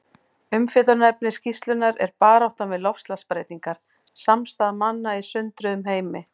Umfjöllunarefni skýrslunnar er Baráttan við loftslagsbreytingar: Samstaða manna í sundruðum heimi.